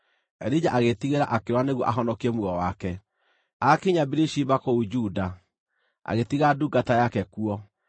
Elija agĩĩtigĩra akĩũra nĩguo ahonokie muoyo wake. Aakinya Birishiba kũu Juda, agĩtiga ndungata yake kuo,